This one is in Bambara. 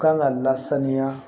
Kan ka lasaniya